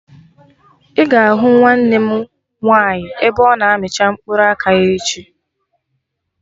Ị ga-ahụ nwa nwanne m nwaanyị ebe ọ na amicha mkpụrụ aka ya echi